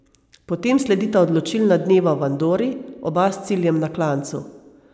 Potem sledita odločilna dneva v Andori, oba s ciljem na klancu.